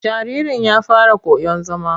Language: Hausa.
Jaririn ya fara koyon zama.